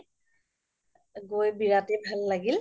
গৈ বিৰাত তে ভাল লাগিল